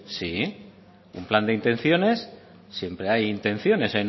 sí un plan de intenciones siempre hay intenciones